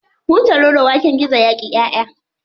Hutaroro waken gizo yaƙi ƴaʼƴa.